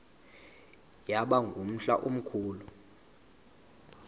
yaba ngumhla omkhulu